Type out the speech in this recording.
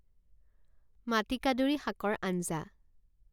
মাটিকাদুৰী শাকৰ আঞ্জা